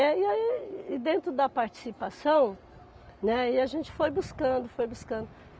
E aí aí, e dentro da participação, né, aí a gente foi buscando, foi buscando.